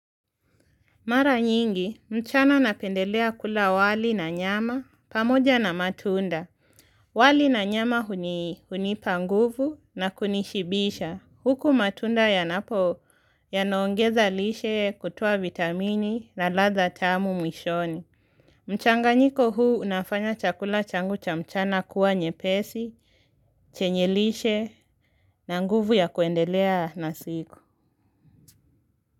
Mara nyingi, mchana napendelea kula wali na nyama, pamoja na matunda. Wali na nyama huni, hunipa nguvu na kunishibisha. Huku matunda yanapo yanaongeza lishe kutoa vitamini na ladha tamu mwishoni. Mchanganyiko huu unafanya chakula changu cha mchana kuwa nyepesi, chenye lishe na nguvu ya kuendelea na siku.